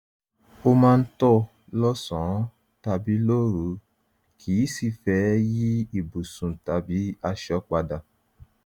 ó máa ń tọ̀ lọ́sàn-án tàbí lóru kìí sìí fẹ́ yí ibùsùn tàbí aṣọ padà